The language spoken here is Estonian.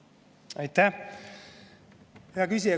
Aitäh, hea küsija!